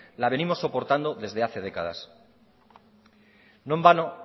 la venimos soportando desde hace décadas no en vano